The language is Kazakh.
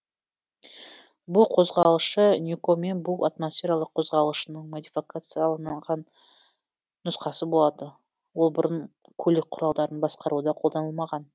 бу қозғалтқышы ньюкомен бу атмосфералық қозғалтқышының модификацияланған нұсқасы болды ол бұрын көлік құралдарын басқаруда қолданылмаған